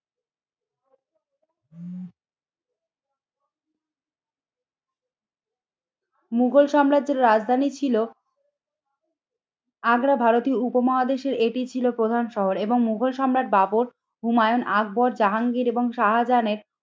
মুঘল সাম্রাজ্যের রাজধানী ছিল আগ্রা ভারতীয় উপমহাদেশের এটি ছিল প্রধান শহর এবং মুঘল সম্রাট বাবর হুমায়ুন আকবর জাহাঙ্গীর এবং শাহাজানের